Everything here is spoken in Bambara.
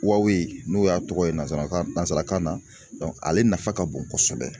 n'o y'a tɔgɔ ye nanzarakan nanzarakan na ale nafa ka bon kosɛbɛ